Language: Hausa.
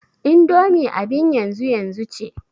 indomi abin yanzu yanzu ce